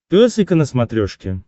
пес и ко на смотрешке